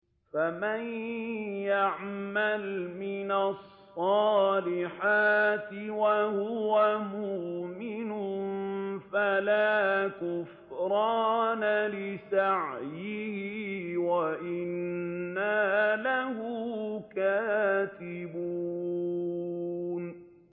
فَمَن يَعْمَلْ مِنَ الصَّالِحَاتِ وَهُوَ مُؤْمِنٌ فَلَا كُفْرَانَ لِسَعْيِهِ وَإِنَّا لَهُ كَاتِبُونَ